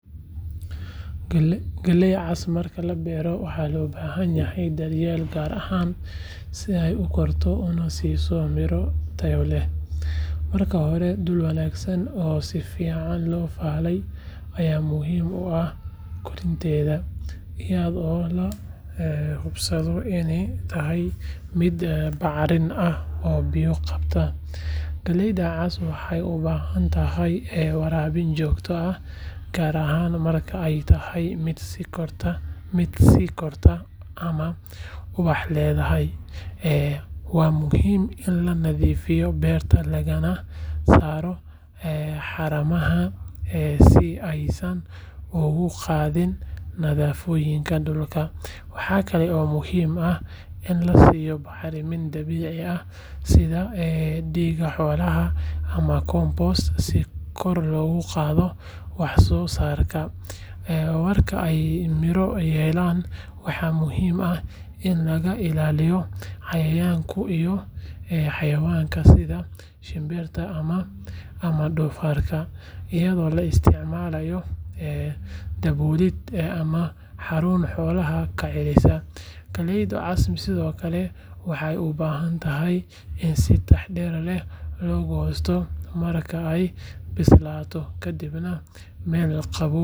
Galley cas marka la beero waxaa loo baahan yahay daryeel gaar ah si ay u korto una siiso miro tayo leh. Marka hore dhul wanaagsan oo si fiican loo falay ayaa muhiim u ah koritaankeeda, iyadoo la hubsado inuu yahay mid bacrin ah oo biyo qabta. Galleyda cas waxay u baahan tahay waraabin joogto ah, gaar ahaan marka ay tahay mid sii kortay ama ubax leedahay. Waa muhiim in la nadiifiyo beerta lagana saaro haramaha si aysan uga qaadin nafaqooyinka dhulka. Waxa kale oo muhiim ah in la siiyo bacriminta dabiiciga ah sida digada xoolaha ama compost si kor loogu qaado wax soo saarkeeda. Marka ay miro yeelato, waxaa muhiim ah in laga ilaaliyo cayayaanka iyo xayawaanka sida shinbiraha ama doofaarka, iyadoo la isticmaalo daboolid ama xarun xoolaha ka celisa. Galleyda cas sidoo kale waxay u baahan tahay in si taxadar leh loo goosto marka ay bislaato, kadibna meel qabow.